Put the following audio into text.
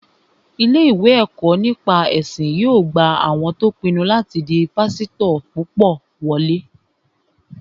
Ilé-ìwé ẹ̀kọ́ nípa ẹ̀sìn yóò gba àwọn tó pinnu láti di pásítọ̀ púpọ̀ wọlé